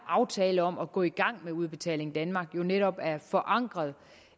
aftale om at gå i gang med udbetaling danmark jo netop er forankret